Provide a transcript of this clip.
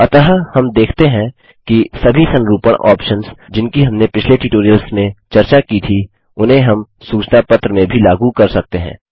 अतः हम देखते हैं कि सभी संरूपणफॉर्मेटिंग ऑप्शन्स जिनकी हमनें पिछले ट्यूटोरियल्स में चर्चा की थी उन्हें हम सूचना पत्र में भी लागू कर सकते हैं